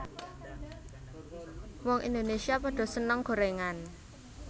Wong Indonesia podo seneng gorengan